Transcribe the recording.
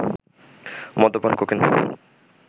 মদ্যপান, কোকেন